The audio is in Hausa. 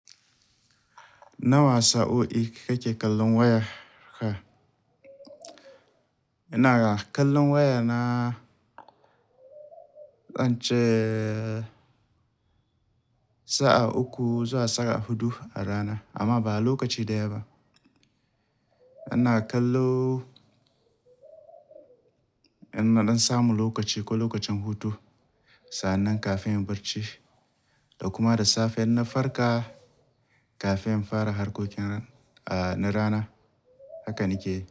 Nawa sa'o'i kake kallon wayarka? Ina kallon wayana, zance sa'a uku zuwa sa'a hudu a rana amma ba lokaci daya ba. Ina kallo idan nasamu lokaci ko lokacin hutu, sannan kafin in barci da kuma da safe idan na farka kafin in fara harkokin na rana. Hakannake yi.